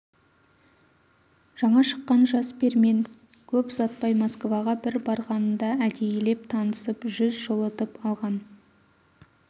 жаңа шыққан жас пермен көп ұзатпай москваға бір барғанында әдейілеп танысып жүз жылытып алған